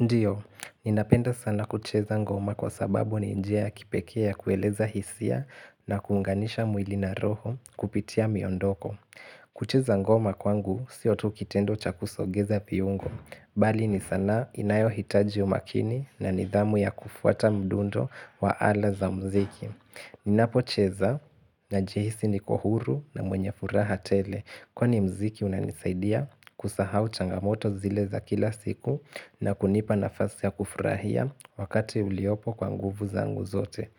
Ndio, ninapenda sana kucheza ngoma kwa sababu ni njia ya kipekee ya kueleza hisia na kuunganisha mwili na roho kupitia miondoko. Kucheza ngoma kwangu sio tu kitendo cha kusogeza viungo, bali ni sanaa inayohitaji umakini na nidhamu ya kufuata mdundo wa ala za mziki. Ninapocheza najihisi niko huru na mwenye furaha tele Kwani muziki unanisaidia kusahau changamoto zile za kila siku na kunipa nafasi ya kufurahia wakati uliopo kwa nguvu zangu zote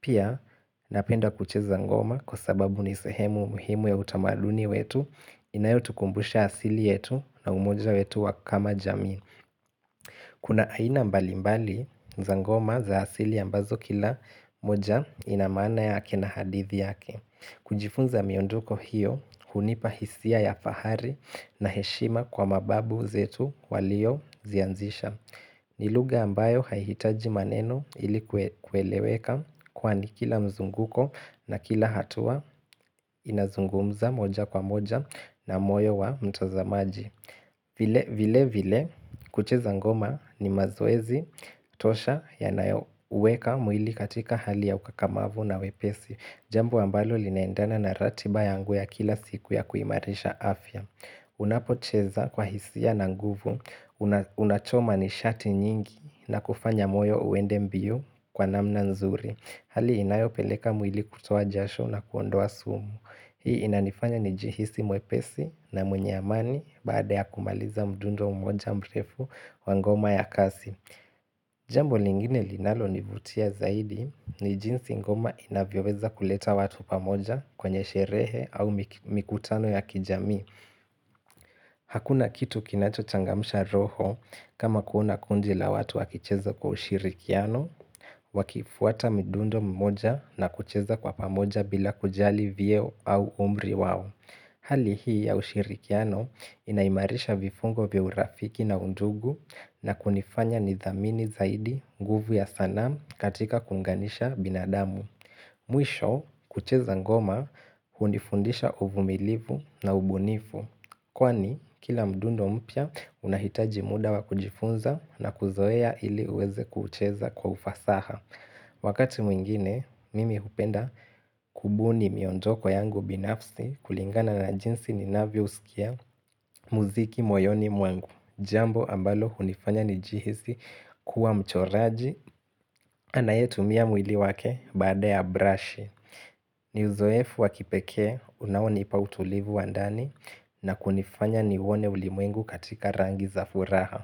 Pia napenda kucheza ngoma kwa sababu ni sehemu muhimu ya utamaduni wetu Inayotukumbusha asili yetu na umoja wetu wa kama jamii Kuna aina mbali mbali za ngoma za asili ambazo kila moja ina maana yake na hadithi yake. Kujifunza miondoko hiyo, hunipa hisia ya fahari na heshima kwa mababu zetu waliozianzisha. Ni lugha ambayo haihitaji maneno ili kueleweka kwani kila mzunguko na kila hatua inazungumza moja kwa moja na moyo wa mtazamaji. Vile vile kucheza ngoma ni mazoezi tosha yanayo uweka mwili katika hali ya ukakamavu na wepesi. Jambo ambalo linaendana na ratiba yangu ya kila siku ya kuimarisha afya Unapocheza kwa hisia na nguvu Unachoma nishati nyingi na kufanya moyo uende mbio kwa namna nzuri Hali inayo peleka mwili kutoa jasho na kuondoa sumu. Hii inanifanya nijihisi mwepesi na mwenye amani baada ya kumaliza mdundo mmoja mrefu wa ngoma ya kasi. Jambo lingine linalonivutia zaidi ni jinsi ngoma inavyoweza kuleta watu pamoja kwenye sherehe au mikutano ya kijamii. Hakuna kitu kinachochangamsha roho kama kuona kundi la watu wakicheza kwa ushirikiano, wakifuata midundo mmoja na kucheza kwa pamoja bila kujali vyeo au umri wao. Hali hii ya ushirikiano inaimarisha vifungo vya urafiki na undugu na kunifanya nithamini zaidi nguvu ya sanaa katika kuunganisha binadamu. Mwisho kucheza ngoma hunifundisha uvumilivu na ubunifu. Kwani kila mdundo mpya unahitaji muda wa kujifunza na kuzoea ili uweze kucheza kwa ufasaha. Wakati mwingine, mimi hupenda kubuni miondoko yangu binafsi kulingana na jinsi ninavyousikia muziki moyoni mwangu. Jambo ambalo hunifanya nijihisi kuwa mchoraji anayetumia mwili wake baada ya brush ni uzoefu wa kipekee unaonipa utulivu wa ndani na kunifanya niuone ulimwengu katika rangi za furaha.